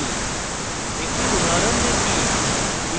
একটি উদাহরণ দেখি